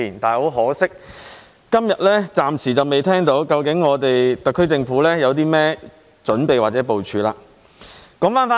很可惜，我今天暫時仍未聽到特區政府有任何準備或部署。